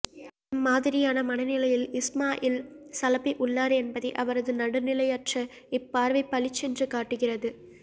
எம்மாதிரியான மனநிலையில் இஸ்மாயில் சலபி உள்ளார் என்பதை அவரது நடுநிலையற்ற இப்பார்வை பளிச்சென்று காட்டுகிறது